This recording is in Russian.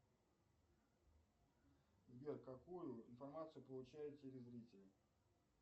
сбер какую информацию получает телезритель